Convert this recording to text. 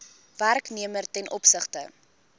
werknemer ten opsigte